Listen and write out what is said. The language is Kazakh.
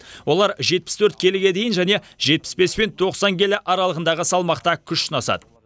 олар жетпіс төрт келіге дейін және жетпіс бес пен тоқсан келі аралығындағы салмақта күш сынасады